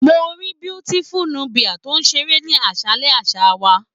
Mo ríi Beautiful Nubia to ṣeré ní aṣalẹ̀ àṣà wá.